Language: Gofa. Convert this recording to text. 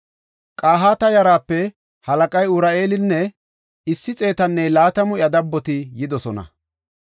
Qahaata yaraape halaqay Uri7eelinne issi xeetanne laatamu iya dabboti yidosona.